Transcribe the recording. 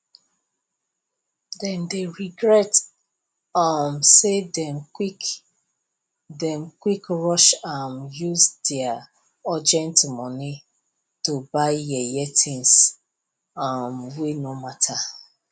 dem dey regret um say dem quick dem quick rush um use dia urgent money to buy yeye things um wey no matter